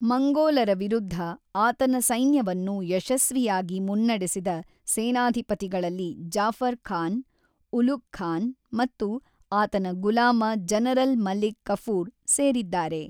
ಮಂಗೋಲರ ವಿರುದ್ಧ ಆತನ ಸೈನ್ಯವನ್ನು ಯಶಸ್ವಿಯಾಗಿ ಮುನ್ನಡೆಸಿದ ಸೇನಾಧಿಪತಿಗಳಲ್ಲಿ ಜಾಫರ್ ಖಾನ್, ಉಲುಗ್ ಖಾನ್ ಮತ್ತು ಆತನ ಗುಲಾಮ-ಜನರಲ್ ಮಲಿಕ್ ಕಾಫೂರ್ ಸೇರಿದ್ದಾರೆ.